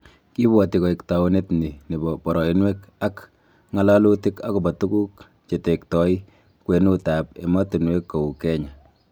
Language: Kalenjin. Kibwati koek taunet ni nebo boroinwek ak Ng'alalutik akobo tukuk chetektoi kwenutab emotinwek kou Kenya